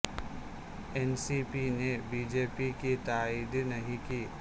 N C پی نے BJP کی تائید نہیں کی